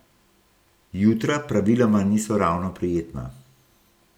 Jutra praviloma niso ravno prijetna.